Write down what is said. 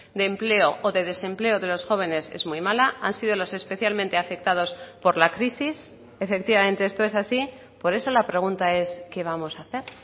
de empleo o de desempleo de los jóvenes es muy mala han sido los especialmente afectados por la crisis efectivamente esto es así por eso la pregunta es qué vamos a hacer